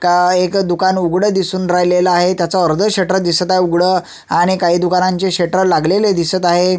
का एक दुकान उघड दिसून राहिलेल आहे त्याच अर्ध शटर दिसत आहे उघड आणि काही दुकानांचे शेटर लागलेले दिसत आहे.